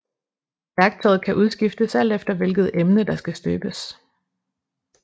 Værktøjet kan udskiftes alt efter hvilket emne der skal støbes